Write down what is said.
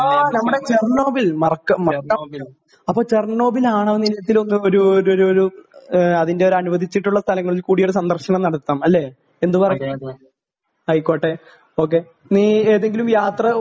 ആ നമ്മുടെ ചെർനോബിൽ മറക്കാൻ പറ്റുമോ അപ്പോ ചെർനോബിൽ ആണവനിലയത്തിൽ ഒരു ഒരു അതിന്റെ ഒരു അനുവദിച്ചിട്ടുള്ള സ്ഥലങ്ങളിൽ കൂടി ഒരു സന്ദർശനം നടത്താം അല്ലേ എന്തു പറയുന്നു ആയിക്കോട്ടെ ഓ കെ നീ ഏതെങ്കിലും യാത്ര